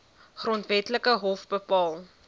grondwetlike hof bepaal